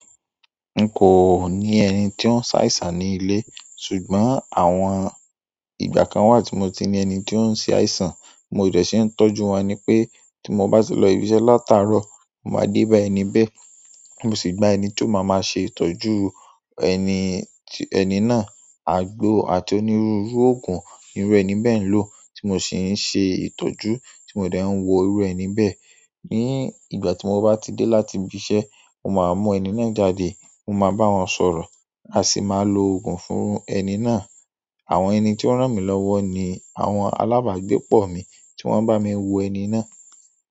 N kò ní ẹni tí ó ń ṣàìsàn ní ilé, ṣùgbọ́n àwọn ìgbà kan wà tí mo ti ní ẹni tí ó ń ṣe àìsàn, bi mo dẹ̀ ṣé ń tọ́jú wọn ni pé tí mo bá ti lọ ibi iṣẹ́ látàárọ̀, mo máa dé bá ẹni bẹ́ẹ̀, mo sì gba ẹni tí ó máa máa ṣe ìtọ́jú ẹni, ẹni náà àgbo àti onírúurú òògùn irú ẹni bẹ́ẹ̀ ń lò tí mo sì ń ṣe ìtọ́jú tí mo dẹ̀ ń wo irú ẹni bẹ́ẹ̀. Ní ìgbà tí mo bá ti dé láti ibi iṣẹ́, mo máa mú ẹni náà jáde, mo máa bá wọn sọ̀rọ̀, a sì máa lo òògùn fún ẹni náà. Àwọn ẹni tí ó ràn mí lọ́wọ́ ni àwọn alábàágbépọ̀ mi tí wọ́n ń bá mi wo ẹni náà.